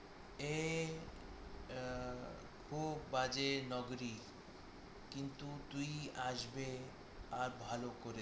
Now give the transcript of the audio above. এ খুব বাজে নগরী কিন্তু তুই আসবে আর ভালো করে